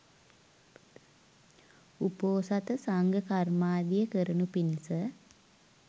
උපෝසථ සංඝ කර්මාදිය කරනු පිණිස